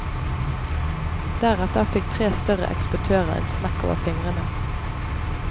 Deretter fikk tre større eksportører en smekk over fingrene.